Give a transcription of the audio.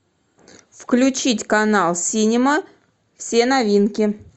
включить канал синема все новинки